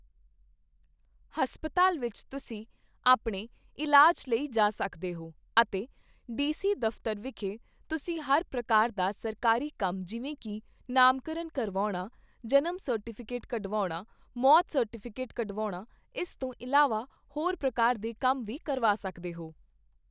ਹਸਪਤਾਲ ਵਿੱਚ ਤੁਸੀਂ ਆਪਣੇ ਇਲਾਜ ਲਈ ਜਾ ਸਕਦੇ ਹੋ ਅਤੇ ਡੀ ਸੀ ਦਫ਼ਤਰ ਵਿਖੇ ਤੁਸੀਂ ਹਰ ਪ੍ਰਕਾਰ ਦਾ ਸਰਕਾਰੀ ਕੰਮ ਜਿਵੇਂ ਕੀ ਨਾਮਕਰਨ ਕਰਵਾਉਣਾ, ਜਨਮ ਸਰਟੀਫ਼ਿਕੇਟ ਕਢਵਾਉਣਾ, ਮੌਤ ਸਰਟੀਫ਼ਿਕੇਟ ਕਢਵਾਉਣਾ, ਇਸ ਤੋਂ ਇਲਾਵਾ ਹੋਰ ਪ੍ਰਕਾਰ ਦੇ ਕੰਮ ਵੀ ਕਰਵਾ ਸਕਦੇ ਹੋ।